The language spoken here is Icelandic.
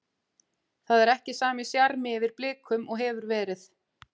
Það er ekki sami sjarmi yfir Blikum og hefur verið.